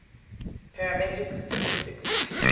parametric statistics